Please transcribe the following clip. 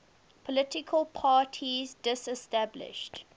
political parties disestablished